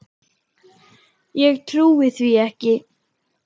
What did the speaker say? Ég trúi því ekki!